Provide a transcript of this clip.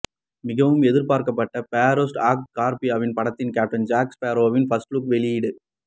மிகவும் எதிர்பார்க்கப்படும் pirates of Caribbean படத்தின் கேப்டன் ஜாக் ஸ்பேரோவின் பர்ஸ்ட் லுக் வெளியீடு